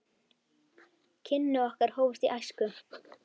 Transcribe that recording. Kynni okkar hófust í æsku.